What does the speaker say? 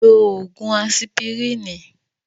Lo ògùn asipirínì.